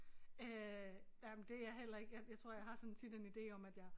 Øh jamen det jeg heller ikke jeg jeg tror jeg har sådan tit en ide om at jeg